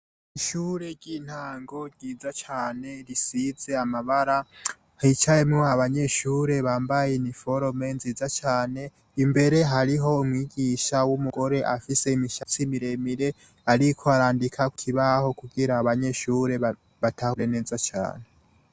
Ishure ry'intango ryiza cane risize amabara, hicayemwo abanyeshure bambaye iniforome nziza cane. Imbere hariho umwigisha w'umugore afise imishatsi miremire, ariko arandika ku kibaho kugira abanyeshure batahure neza cane.